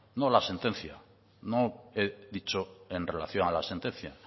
no la sentencia no he dicho en relación a la sentencia